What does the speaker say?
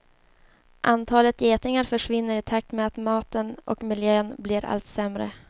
Antalet getingar försvinner i takt med att maten och miljön blir allt sämre.